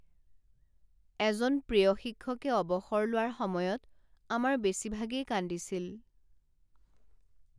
এজন প্ৰিয় শিক্ষকে অৱসৰ লোৱাৰ সময়ত আমাৰ বেছিভাগেই কান্দিছিল।